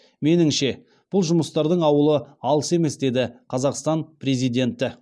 меніңше бұл жұмыстардың ауылы алыс емес деді қазақстан президенті